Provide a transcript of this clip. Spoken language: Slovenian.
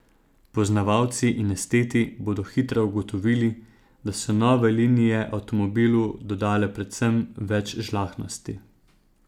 Poznavalci in esteti bodo hitro ugotovili, da so nove linije avtomobilu dodale predvsem več žlahtnosti.